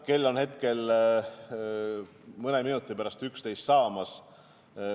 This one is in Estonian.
Kell on hetkel mõne minuti pärast 11 saamas.